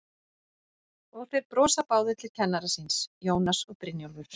Og þeir brosa báðir til kennara síns, Jónas og Brynjólfur.